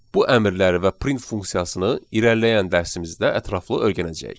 Bu əmrləri və print funksiyasını irəliləyən dərsimizdə ətraflı öyrənəcəyik.